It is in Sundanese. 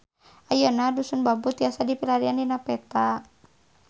Ayeuna Dusun Bambu tiasa dipilarian dina peta